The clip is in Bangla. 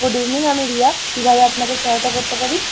Good evening! আমি রিয়া, কিভাবে আপনাকে সহায়তা করতে পারি?